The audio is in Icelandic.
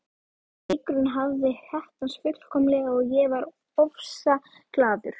Leikurinn hafði heppnast fullkomlega og ég var ofsaglaður.